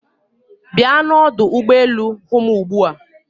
Bịa n'ọdụ ụgbọ elu hụ m ugbu a